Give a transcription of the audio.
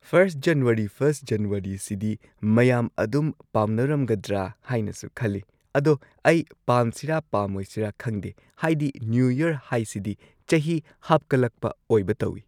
First January first ꯖꯟꯋꯥꯔꯤꯁꯤꯗꯤ ꯃꯌꯥꯝ ꯑꯗꯨꯝ ꯄꯥꯝꯅꯔꯝꯒꯗ꯭ꯔ ꯍꯥꯏꯅꯁꯨ ꯈꯜꯂꯤ ꯑꯗꯣ ꯑꯩ ꯄꯥꯝꯁꯤꯔ ꯄꯥꯝꯃꯣꯏꯁꯤꯔ ꯈꯪꯗꯦ ꯍꯥꯏꯗꯤ ꯅ꯭ꯌꯨꯌꯔ ꯍꯥꯏꯁꯤꯗꯤ ꯆꯍꯤ ꯍꯥꯞꯀꯠꯂꯛꯄ ꯑꯣꯏꯕ ꯇꯧꯏ꯫